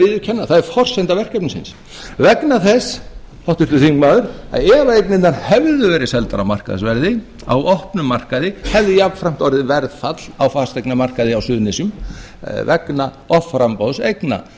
viðurkenna það er forsenda verkefnisins vegna þess háttvirtur þingmaður að ef eignirnar hefðu verið seldar á markaðsverði á opnum markaði hefði jafnframt orðið verðfall á fasteignamarkaði á suðurnesjum vegna offramboðs eigna